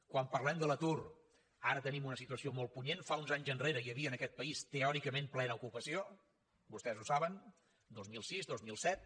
quan parlem de l’atur ara tenim una situació molt punyent fa uns anys enrere hi havia en aquest país teòricament plena ocupació vostès ho saben dos mil sis dos mil set